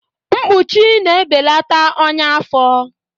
Mkpuchi na-ebelata ọnya afọ